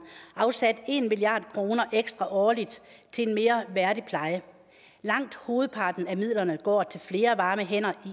afsat en milliard kroner ekstra årligt til en mere værdig pleje langt hovedparten af midlerne går til flere varme hænder